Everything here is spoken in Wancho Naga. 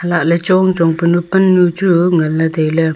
lahle chong chong panu pannu chu ngan le taile.